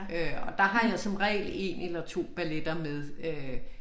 Øh der har jeg som regel 1 eller 2 balletter med øh